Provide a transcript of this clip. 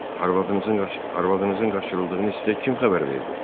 Arvadınızın qaçırıldığını hiss etə kim xəbər verdi?